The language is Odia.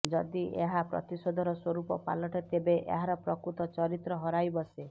ଯଦି ଏହା ପ୍ରତିଶୋଧର ସ୍ୱରୂପ ପାଲଟେ ତେବେ ଏହାର ପ୍ରକୃତ ଚରିତ୍ର ହରାଇ ବସେ